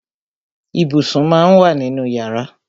Ibùsùn má ń wà nínú yàrá.